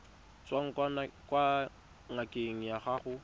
tswang kwa ngakeng ya gago